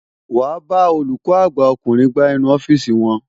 Wàá bá olùkọ́ àgbà ọkùnrin gbá inú ọ́fíìsì wọn.